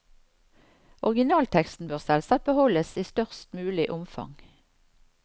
Originalteksten bør selvsagt beholdes i størst mulig omfang.